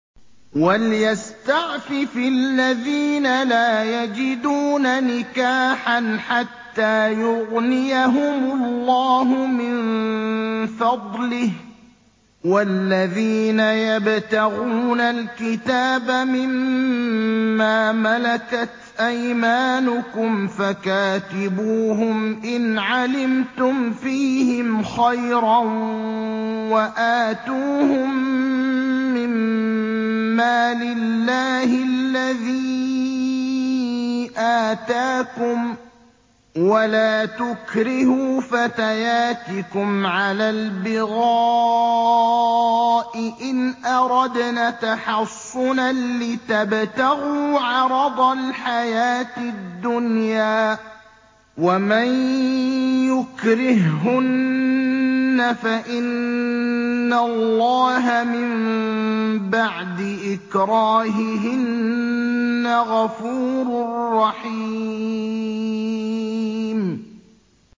وَلْيَسْتَعْفِفِ الَّذِينَ لَا يَجِدُونَ نِكَاحًا حَتَّىٰ يُغْنِيَهُمُ اللَّهُ مِن فَضْلِهِ ۗ وَالَّذِينَ يَبْتَغُونَ الْكِتَابَ مِمَّا مَلَكَتْ أَيْمَانُكُمْ فَكَاتِبُوهُمْ إِنْ عَلِمْتُمْ فِيهِمْ خَيْرًا ۖ وَآتُوهُم مِّن مَّالِ اللَّهِ الَّذِي آتَاكُمْ ۚ وَلَا تُكْرِهُوا فَتَيَاتِكُمْ عَلَى الْبِغَاءِ إِنْ أَرَدْنَ تَحَصُّنًا لِّتَبْتَغُوا عَرَضَ الْحَيَاةِ الدُّنْيَا ۚ وَمَن يُكْرِههُّنَّ فَإِنَّ اللَّهَ مِن بَعْدِ إِكْرَاهِهِنَّ غَفُورٌ رَّحِيمٌ